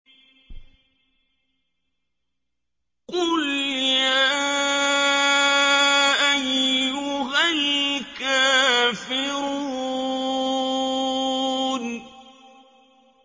قُلْ يَا أَيُّهَا الْكَافِرُونَ